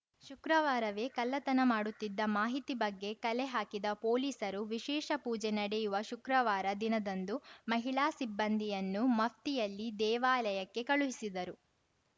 ಶುಕ್ರವಾರವೇ ಕಳ್ಳತನ ಮಾಡುತ್ತಿದ್ದ ಮಾಹಿತಿ ಬಗ್ಗೆ ಕಲೆಹಾಕಿದ ಪೊಲೀಸರು ವಿಶೇಷ ಪೂಜೆ ನಡೆಯುವ ಶುಕ್ರವಾರ ದಿನದಂದು ಮಹಿಳಾ ಸಿಬ್ಬಂದಿಯನ್ನು ಮಫ್ತಿಯಲ್ಲಿ ದೇವಾಲಯಕ್ಕೆ ಕಳುಹಿಸಿದರು